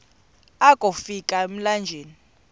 akofi ka emlanjeni